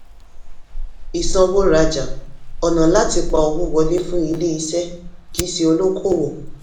ìsanwó-rajá: ọ̀nà láti pa owó wọlé fún ilé-iṣẹ́ kì í ṣe olókòwò.